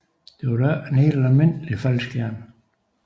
Det var dog ikke en helt almindelig faldskærm